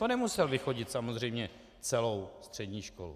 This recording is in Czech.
To nemusel vychodit samozřejmě celou střední školu.